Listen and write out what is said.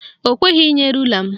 Ọ kweghị inye rula m.